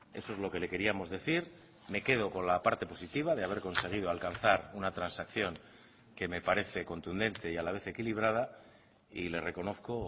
eso es lo que le queríamos decir me quedo con la parte positiva de haber conseguido alcanzar una transacción que me parece contundente y a la vez equilibrada y le reconozco